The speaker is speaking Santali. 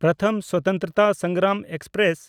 ᱯᱨᱚᱛᱷᱚᱢ ᱥᱚᱛᱚᱱᱛᱨᱚᱛᱟ ᱥᱚᱝᱜᱨᱟᱢ ᱮᱠᱥᱯᱨᱮᱥ